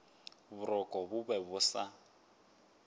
boroko bo be bo sa